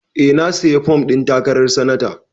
Eh, na sayi fom ɗin takarar sanata